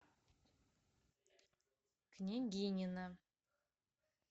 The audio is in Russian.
княгинино